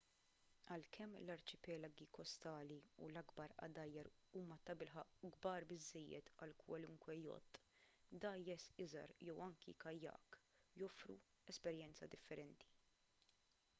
għalkemm l-arċipelagi kostali u l-akbar għadajjar huma tabilħaqq kbar biżżejjed għal kwalunkwe jott dgħajjes iżgħar jew anki kajak joffru esperjenza differenti